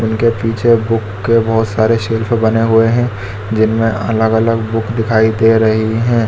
उनके पीछे बुक के बहुत सारे शेल्फ बने हुए हैं जिनमे अलग अलग बुक दिखाई दे रही हैं।